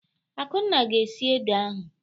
Akunna ga-esi ede ahu.